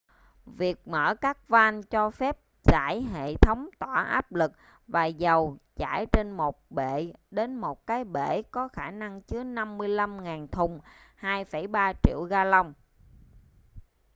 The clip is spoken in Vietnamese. việc mở các van cho phép giải hệ thống tỏa áp lực và dầu chảy trên một bệ đến một cái bể có khả năng chứa 55.000 thùng 2,3 triệu galông